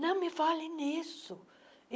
Não me fale nisso.